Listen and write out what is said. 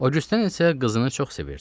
O djusten isə qızını çox sevirdi.